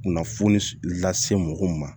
Kunnafoni lase mɔgɔw ma